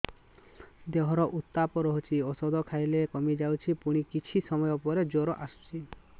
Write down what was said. ଦେହର ଉତ୍ତାପ ରହୁଛି ଔଷଧ ଖାଇଲେ କମିଯାଉଛି ପୁଣି କିଛି ସମୟ ପରେ ଜ୍ୱର ଆସୁଛି